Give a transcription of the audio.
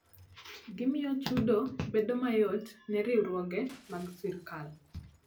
Gimiyo chudo bedo mayot ne riwruoge mag sirkal.